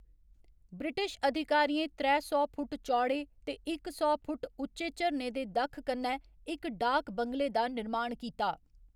British अधिकारियें त्रै सौ फुट्ट चौड़े ते इक सौ फुट्ट उच्चे झरने दे दक्ख कन्नै इक डाक बंगले दा निर्माण कीता।